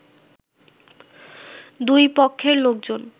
দুই পক্ষের লোকজন